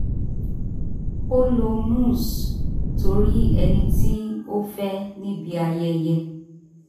ó lo mousse torí ẹni tí ó fẹ́ níbi ayẹyẹ